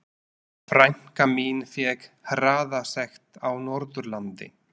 Frænka mín fékk hraðasekt á Norðurlandi.